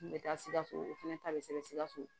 N bɛ taa sikaso o fana ta bɛ sɛbɛn sikaso